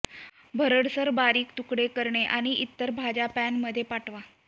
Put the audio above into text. भरडसर बारीक तुकडे करणे आणि इतर भाज्या पॅन मध्ये पाठवा